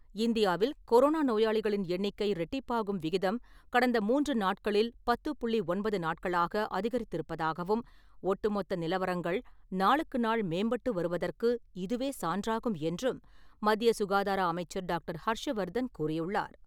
இந்தியாவில் கொரோனா நோயாளிகளின் எண்ணிக்கை இரட்டிப்பாகும் விகிதம் கடந்த மூன்று நாட்களில் பத்து புள்ளி ஒன்பது நாட்களாக அதிகரித்திருப்பதாகவும் ஒட்டு மொத்த நிலவரங்கள் நாளுக்குநாள் மேம்பட்டு வருவதற்கு இதுவே சான்றாகும் என்றும் மத்திய சுகாதார அமைச்சர் டாக்டர் ஹர்ஷ வர்தன் கூறியுள்ளார்.